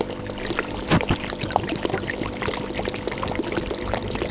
Björn stökk af hestinum og tók hana í fangið.